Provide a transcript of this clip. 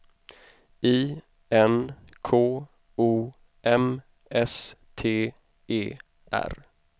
I N K O M S T E R